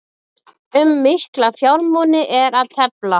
Um mikla fjármuni er að tefla